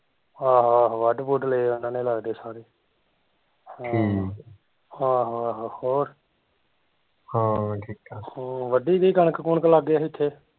ਆਹੋ ਆਹੋ ਵੱਢ ਵੁੱਡ ਲਏ ਓਹਨਾਂ ਨੇ ਲੱਗਦੇ ਸਾਰੇ ਆਹੋ ਆਹੋ ਹੋਰ ਵੱਢੀ ਗਈ ਕਣਕ ਕੁਣਕ ਲਾਗੇ ਹਿਥੇ